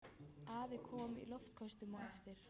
Afi kom í loftköstum á eftir.